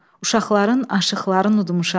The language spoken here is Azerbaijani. Uşaqların aşıqların udmuşam.